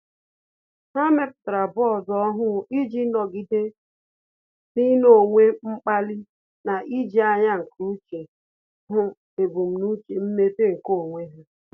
Há mèpụ̀tárà bọọdụ ọ́hụ́ụ iji nọ́gídé n’ị́nọ́wé mkpali na íjí ányá nke úchè hụ́ ebumnuche mmepe nke onwe ha.